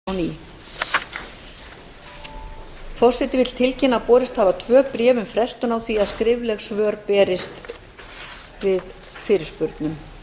berglind getur ekki opnað skjölin og gátað fyrirspurnirnar forseti vill tilkynna að borist hafa tvö bréf um frestun á því að skrifleg svör berist við fyrirspurnum